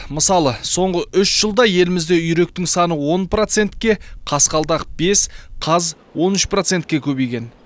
мысалы соңғы үш жылда елімізде үйректің саны он процентке қасқалдақ бес қаз он үш процентке көбейген